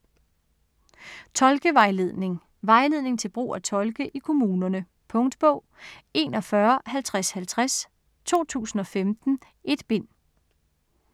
Tolkevejledning Vejledning til brug af tolke i kommunerne. Punktbog 415050 2015. 1 bind.